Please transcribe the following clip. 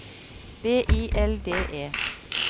B I L D E